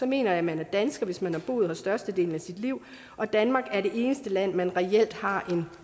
mener jeg at man er dansker hvis man har boet her størstedelen af sit liv og danmark er det eneste land man reelt har en